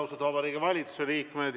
Austatud Vabariigi Valitsuse liikmed!